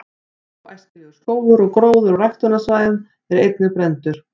„óæskilegur“ skógur og gróður á ræktunarsvæðum er einnig brenndur